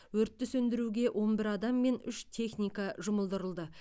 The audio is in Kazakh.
өртті сөндіруге он бір адам мен үш техника жұмылдырылды